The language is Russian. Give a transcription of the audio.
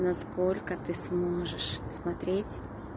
насколько ты сможешь смотреть